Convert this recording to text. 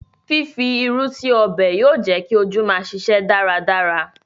Fífi irú sí ọbẹ̀ yóò jẹ́ kí ojú máa ṣiṣẹ́ dáradára